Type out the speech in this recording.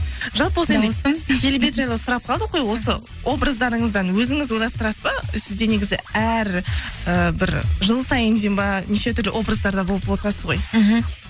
жалпы келбет жайлы сұрап қалдық қой осы образдарыңыздан өзіңіз ойластырасыз ба сізде негізі әр і бір жыл сайын дейін ба неше түрлі образдарда болып отырасыз ғой мхм